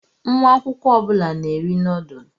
Nwa akwụkwọ ọ bụla na-eri noodlu.